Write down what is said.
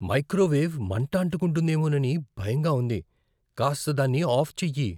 Microwave మంటఅంటుకుంటుందేమోనని భయంగా ఉంది. కాస్త దాన్ని ఆఫ్ చెయ్యి.